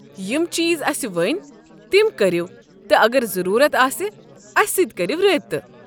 یم چیٖز اسہ ؤنۍ تم كریو تہٕ اگر ضروٗرت آسہ اسہِ سٕتۍ کٔرو رٲبطہٕ۔